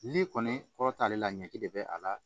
N'i kɔni kɔrɔ t'ale la ɲɛki de bɛ a la